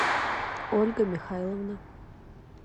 ольга михайловна